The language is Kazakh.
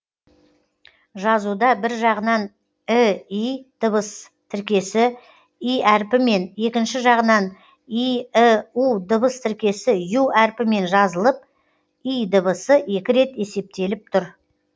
жазуда бір жағынан ій дыбыс тіркесі и әріпімен екінші жағынан йіу дыбыс тіркесі ю әріпімен жазылып й дыбысы екі рет есептеліп тұр